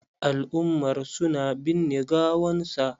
Al'umar su na binne gawan sa.